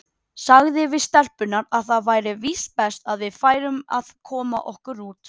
Sagði við stelpurnar að það væri víst best að við færum að koma okkur út.